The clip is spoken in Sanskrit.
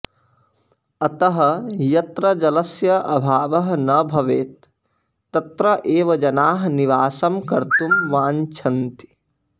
अतः यत्र जलस्य अभावः न भवेत् तत्र एव जनाः निवासं कर्तुं वाञ्च्छन्ति